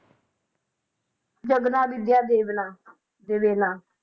ਜਗਨਾ ਵਿਦਿਆ ਦਿਵੇਨਾ ਦਿਵੇਨਾ,